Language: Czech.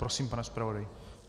Prosím, pane zpravodaji.